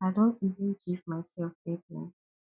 i don even give myself deadline